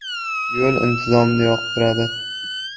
Yo‘l intizomni yoqtiradi.